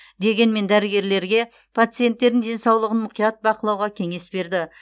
дегенмен дәрігерлерге пациенттердің денсаулығын мұқият бақылауға кеңес берді